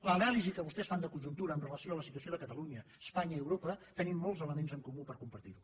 l’anàlisi que vostès fan de conjuntura amb relació a la situació de catalunya espanya i europa tenim molts elements en comú per compartir la